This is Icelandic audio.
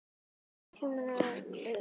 Býður nokkur betur?